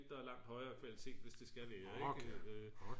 der er langt højere kvalitet hvis det skal vær ik